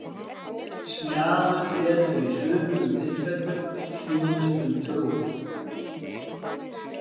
Smjaður getur í sumum tilfellum snúist um trú.